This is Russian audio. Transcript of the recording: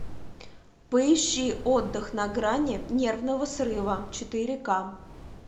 поищи отдых на грани нервного срыва четыре ка